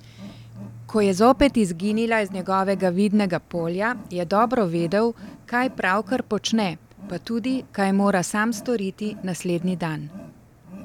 Ko je zopet izginila iz njegovega vidnega polja, je dobro vedel, kaj pravkar počne, pa tudi, kaj mora sam storiti naslednji dan!